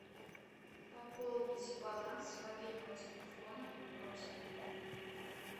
пополнить баланс мобильного телефона родственнику